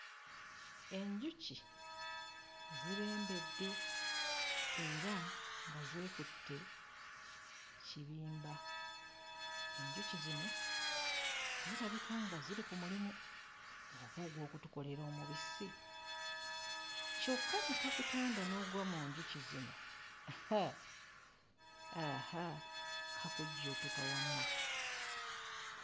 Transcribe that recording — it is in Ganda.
Enjuki zibembedde era nga zeekutte kirimba. Enjuki zino zirabika nga ziri ku mulimu oba ogw'okutukolera omubisi? Kyokka ne kakutanda n'ogwa mu njuki zino, haa, aha! Kakujjuutuka.